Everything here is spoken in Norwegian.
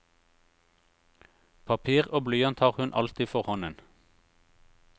Papir og blyant har hun alltid for hånden.